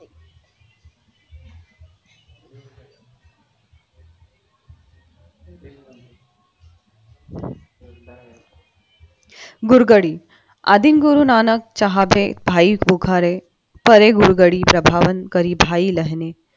गुरुगडी आदिन गुरुनानक चहाबे भाई पोखरे